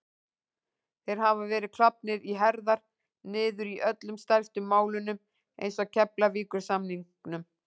Þeir hafa verið klofnir í herðar niður í öllum stærstu málunum eins og Keflavíkursamningnum